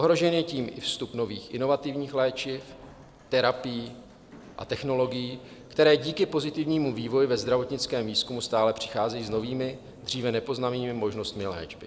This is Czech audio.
Ohrožen je tím i vstup nových, inovativních léčiv, terapií a technologií, které díky pozitivnímu vývoji ve zdravotnickém výzkumu stále přicházejí s novými, dříve nepoznanými možnostmi léčby.